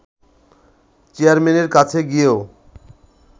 চেয়ারম্যানের কাছে গিয়েও